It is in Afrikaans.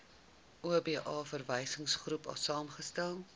oba verwysingsgroep saamgestel